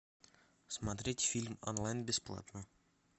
смотреть фильм онлайн бесплатно